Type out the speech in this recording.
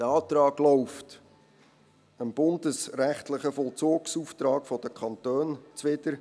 Dieser Antrag läuft dem bundesrechtlichen Vollzugsauftrag der Kantone zuwider.